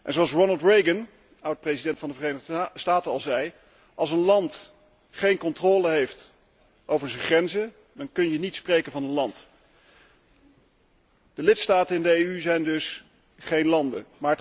Zoals Ronald Reagan, oud president van de Verenigde Staten, al zei Als een land geen controle heeft over zijn grenzen, dan kun je niet spreken van een land. De lidstaten in de EU zijn dus geen landen.